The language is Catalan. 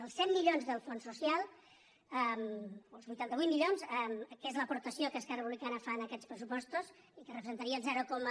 els cent milions dels fons social o els vuitanta vuit milions que és l’aportació que esquerra republicana fa en aquests pressupostos i que representaria el zero coma